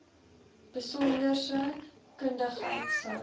besonderse kundigheid sou